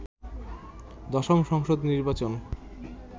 দশম সংসদ নির্বাচন